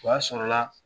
O y'a sɔrɔla